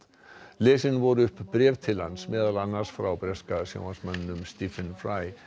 lesin voru upp bréf til hans meðal annars frá breska sjónvarpsmanninum Stephen